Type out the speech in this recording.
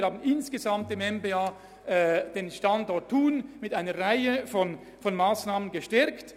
Wir haben seitens des MBA den Standort Thun insgesamt mit einer Reihe von Massnahmen gestärkt.